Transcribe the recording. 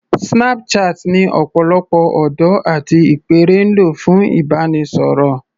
Snapchat ni ọ̀pọ̀lọpọ̀ ọ̀dọ́ àti ìpẹ́ẹ̀rẹ̀ ń lò fún ìbánisọ̀rọ̀